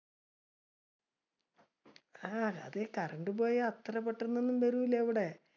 ആഹ് അത് current പോയ അത്ര പെട്ടന്നൊന്നും വരൂല ഇവിടെ.